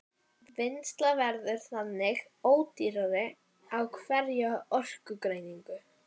Vinnsla verður þannig ódýrari á hverja orkueiningu.